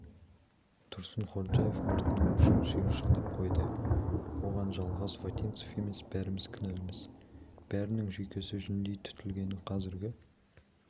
тұрсынходжаев мұртының ұшын шиыршықтап қойды оған жалғаз вотинцев емес бәріміз кінәліміз бәрінің жүйкесі жүндей түтілген қазіргі